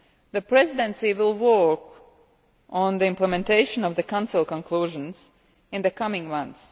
The Presidency will work on the implementation of the Council conclusions in the coming months.